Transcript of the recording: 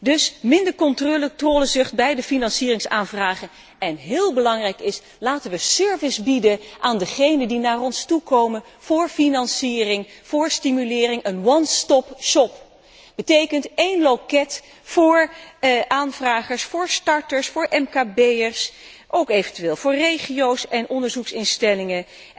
Dus minder controlezucht bij de financieringsaanvragen en wat heel belangrijk is laten we service bieden aan degenen die naar ons toekomen voor financiering, voor stimulering, een one stop shop één loket voor aanvragers, voor starters, voor MKB'ers, eventueel ook voor regio's en onderzoeksinstellingen.